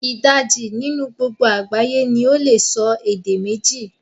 Idaji ninu gbogbo agbaye ni ole so ede meji